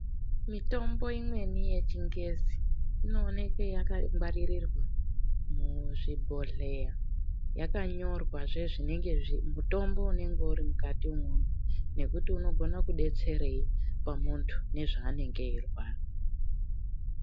Mitombo imweni yechingezi inooneka yakangwaririrwa muzvibhodhleya yakanyorwazve mutombo unenge uri mukati nekuti unokone kudetserei pamunhu nezvaanenge eirwara.